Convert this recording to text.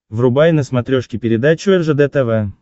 врубай на смотрешке передачу ржд тв